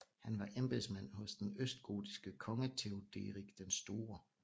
Han var embedsmand hos den østgotiske konge Theoderik den store